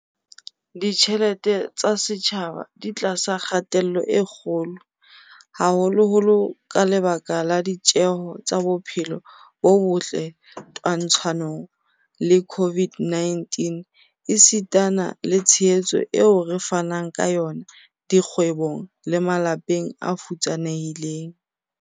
Ditjhelete tsa setjhaba di tlasa kgatello e kgolo, haholoholo ka lebaka la ditjeho tsa bophelo bo botle twantshanong le COVID-19 esitana le tshehetso eo re fanang ka yona dikgwebong le malapeng a futsanehileng.